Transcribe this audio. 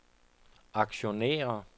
aktionærer